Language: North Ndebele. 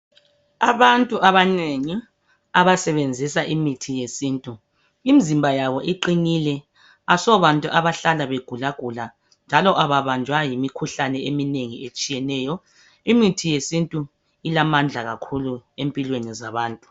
Abantu abanengi abasebenzisa imithi yesithu, imizimba yabo iqiqnile, asobantu abahlala begulagula. Njalo kababanjwa yimkhuhlane eminengi etshiyeneyo. Imithi yesithu ilamandla kakhulu empilweni zabantu.